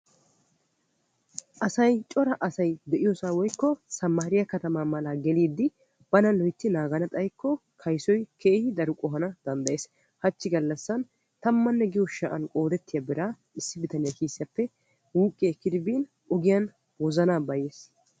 Asay cora asay de'iyoosan woykko sammaarriyaa katamaa malaa geliidi bana mintti naagana xayikko kayssoy keehi qohana danddayees. hachchi gallassan tammanne giyoo sha"u biraa issi bitaniyaa kisiyaappe wuuqqi ekkidi bin ogiyaan wozanaa bayyiis.